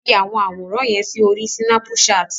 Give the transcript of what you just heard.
Fi àwọn àwòràn yẹn sí orí Sínápùṣaàtì!